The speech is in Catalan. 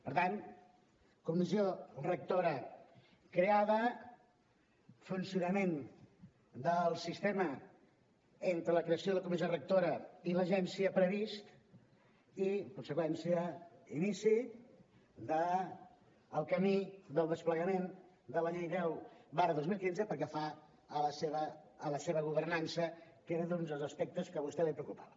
per tant comissió rectora creada funcionament del sistema entre la creació de la comissió rectora i l’agència previst i en conseqüència inici del camí del desplegament de la llei deu dos mil quinze pel que fa a la seva governança que era un dels aspectes que a vostè li preocupava